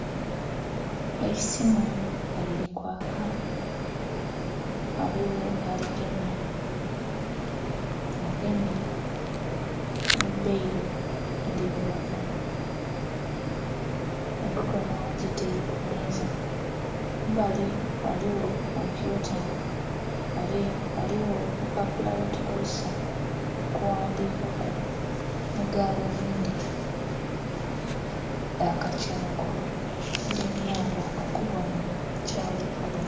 Eisimu nga lili kwaaka ghaligho aligemye nga agemye nhi bbairo endhirugavu emikonho agitaire ku meeza, kumbali ghaligho kompyuta ghale ghaligho opupapula bwe tukozesa okughandikaku nhi galubindi dha kathungwa edhimuyamba okubonha kyali kola.